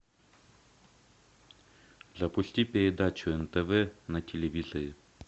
запусти передачу нтв на телевизоре